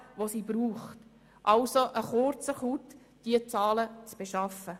Es ist also eine kleine Sache, diese Zahlen zu beschaffen.